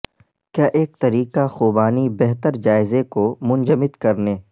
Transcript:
کیا ایک طریقہ خوبانی بہتر جائزے کو منجمد کرنے